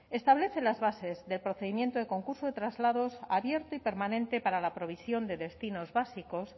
establece las bases del procedimiento del concurso de traslados abierta y permanente para la provisión de destinos básicos